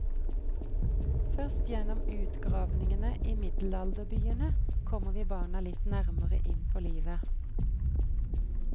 Først gjennom utgravningene i middelalderbyene kommer vi barna litt nærmere inn på livet.